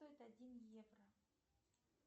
стоит один евро